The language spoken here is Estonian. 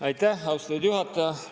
Aitäh, austatud juhataja!